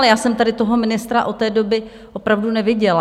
Ale já jsem tady toho ministra od té doby opravdu neviděla.